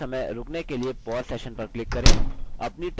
type करते समय रुकने के लिए pause session पर click करें